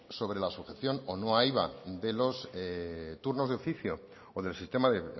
sobre la sujeción o no a iva de los turnos de oficio o del sistema de